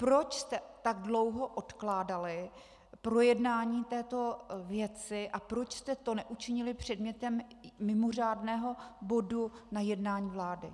Proč jste tak dlouho odkládali projednání této věci a proč jste to neučinili předmětem mimořádného bodu na jednání vlády?